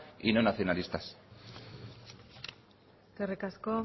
y no nacionalistas eskerrik asko